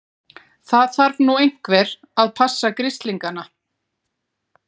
Það þarf nú einhver að passa grislingana.